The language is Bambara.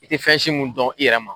I ti fɛn si mun dɔn, i yɛrɛ ma.